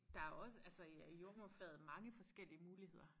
Der også altså i i jordemoderfaget mange forskellige muligheder